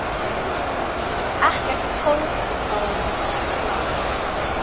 Ekkert hálfkák þar.